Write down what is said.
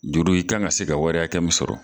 Juru i kan ka se ka wari hakɛ min sɔrɔ